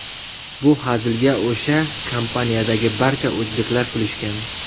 Bu hazilga o‘sha kompaniyadagi barcha o‘zbeklar kulishgan.